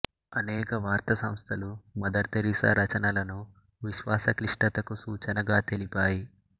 అనేక వార్త సంస్థలు మదర్ థెరీసా రచనలను విశ్వాస క్లిష్టతకు సూచనగా తెలిపాయి